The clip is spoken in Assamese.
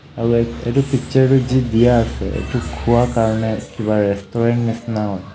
আৰু এই এইটো পিক্সাৰটো যি দিয়া আছে এইটো খোৱা কাৰণে কিবা ৰেষ্টোৰেন্ত নিচিনা হয়।